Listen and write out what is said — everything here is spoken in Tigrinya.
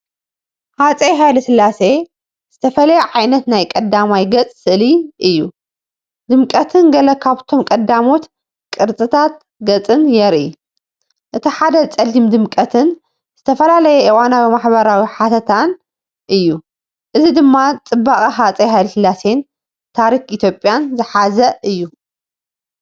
ሃፀይ ሃይለስላሴ ዝተፈለየ ዓይነት ናይ ቀዳማይ ገጽ ስእሊ እዩ። ድምቀትን ገለ ካብቶም ቀዳሞት ቅርጽታት ገጽን የርኢ። እቲ ሓደ ጸሊም ድምቀትን ዝተፈላለየ እዋናዊ ማሕበራዊ ሓተታን እዩ። እዚ ድማ ጽባቐ ሃፀይ ሃይለስላሴን ታሪኽ ኢትዮጵያን ዝሓዘ እዩ።